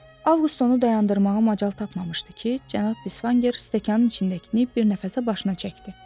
Avqust onu dayandırmağa macal tapmamışdı ki, cənab Bisvanger stəkanın içindəkini bir nəfəsə başına çəkdi.